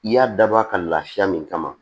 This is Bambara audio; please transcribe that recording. I y'a dabɔ a ka lafiya min kama